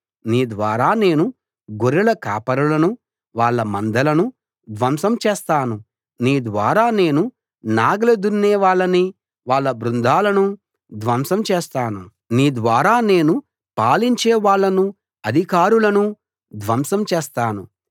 నీ ద్వారా నేను గొర్రెల కాపరులనూ వాళ్ళ మందలనూ ధ్వంసం చేస్తాను నీ ద్వారా నేను నాగలి దున్నే వాళ్ళనీ వాళ్ళ బృందాలనూ ధ్వంసం చేస్తాను నీ ద్వారా నేను పాలించే వాళ్ళనూ అధికారులనూ ధ్వంసం చేస్తాను